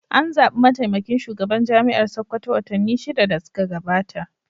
An zaɓi mataimakin shugaban Jami'ar Sakkwato watanni shida da suka gabata.